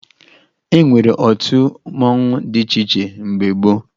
E nwere otu mmanwụ dị iche iche mgbe gboo